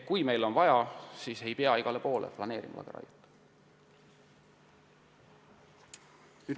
Niisiis, igale poole ei pea planeerima lageraiet.